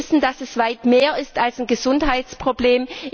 Eir wissen, dass es weit mehr ist als ein Gesundheitsproblem.